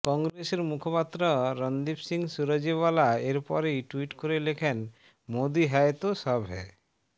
কংগ্রেসের মুখপাত্র রনদীপ সিং সুরজেওয়ালা এরপরেই ট্যুইট করে লেখেন মোদি হ্যায় তো সব হ্যায়